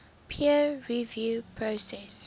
peer review process